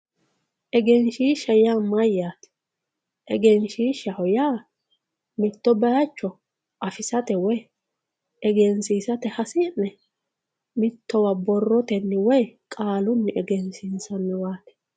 egenshiishsha yaa mayaate egenshiishshaho yaa mitto baayiicho afisate woye egensiisate hasi'ne mittowa borrotenn woyi qaalunn egensiinsanniwaati